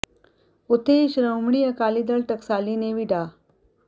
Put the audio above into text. ਉੱਥੇ ਹੀ ਸ਼੍ਰੋਮਣੀ ਅਕਾਲੀ ਦਲ ਟਕਸਾਲੀ ਨੇ ਵੀ ਡਾ